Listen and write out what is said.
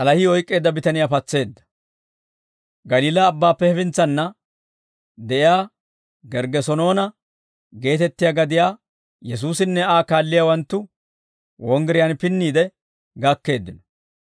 Galiilaa Abbaappe hefintsanna de'iyaa Gerggesenoona geetettiyaa gadiyaa, Yesuusinne Aa kaalliyaawanttu, wonggiriyaan pinniide gakkeeddino.